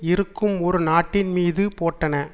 இருக்கும் ஒரு நாட்டின் மீது போட்டன